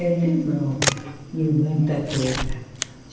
Eu lembro de muita coisa.